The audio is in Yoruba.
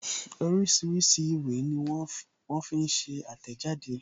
Oríṣiríṣi ìwé ní wón fi ń ṣe àtẹ̀jáde